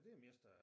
Det er mest øh